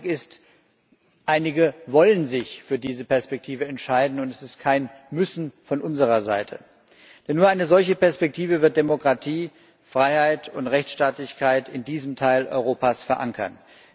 Mein Eindruck ist, dass einige sich für diese Perspektive entscheiden wollen und es ist kein Müssen von unserer Seite denn nur eine solche Perspektive wird Demokratie, Freiheit und Rechtsstaatlichkeit in diesem Teil Europas verankern.